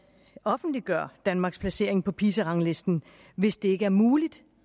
offentliggør danmarks placering på pisa ranglisten hvis det ikke er muligt